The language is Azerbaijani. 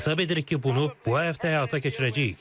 Hesab edirik ki, bunu bu həftə həyata keçirəcəyik.